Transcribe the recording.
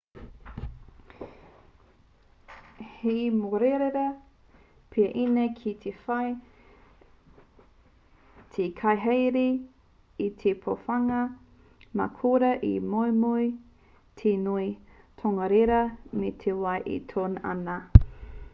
he mōrearea pea ēnei ki te whai te kaihaere i te pōhewanga mā korā e moumou te ngoi tongarewa me te wai e toe ana